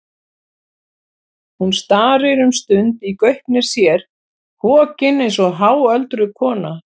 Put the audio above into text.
Hún starir um stund í gaupnir sér, hokin eins og háöldruð kona.